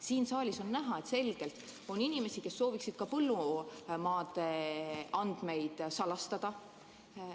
Siin saalis on näha, et selgelt on inimesi, kes sooviksid ka põllumaade andmeid salastada.